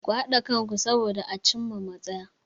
Ku haɗa kanku soboda a cin ma matsaya.